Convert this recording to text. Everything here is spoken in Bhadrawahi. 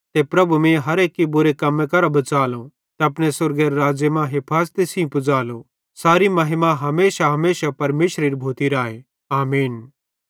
ते प्रभु मीं हर एक्की बुरे हमले करां बच़ालो ते अपने स्वर्गेरे राज़्ज़े मां हफाज़ती सेइं पुज़ालो सारे महिमा हमेशाहमेशा परमेशरेरी भोती राए आमीन